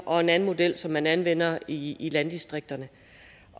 og en anden model som man anvender i i landdistrikterne